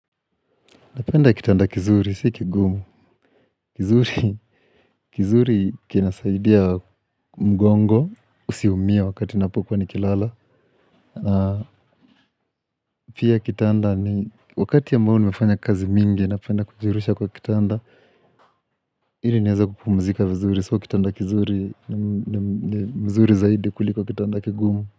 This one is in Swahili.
Napenda kitanda kizuri, sikigumu. Kizuri, kizuri kinasaidia mgongo, usiumie wakati napokuwa nikilala. Pia kitanda ni, wakati ya ambao nimefanya kazi mingi, napenda kujirusha kwa kitanda. Ili niweze kupumzika vizuri, so kitanda kizuri, ni mzuri zaidi kuliko kitanda kigumu.